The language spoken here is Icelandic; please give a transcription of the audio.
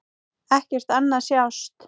Ekkert annað sást.